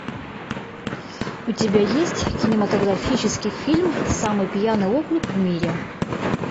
у тебя есть кинематографический фильм самый пьяный округ в мире